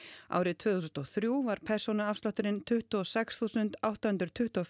árið tvö þúsund og þrjú var persónuafslátturinn tuttugu og sex þúsund átta hundruð tuttugu og